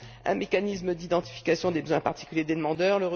un mécanisme d'identification des besoins particuliers des demandeurs